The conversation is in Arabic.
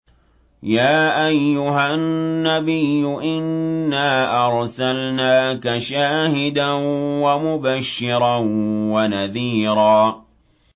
يَا أَيُّهَا النَّبِيُّ إِنَّا أَرْسَلْنَاكَ شَاهِدًا وَمُبَشِّرًا وَنَذِيرًا